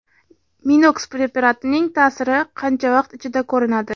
Minox preparatining ta’siri qancha vaqt ichida ko‘rinadi?